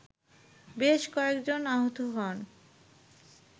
বেশ কয়েকজন আহত হন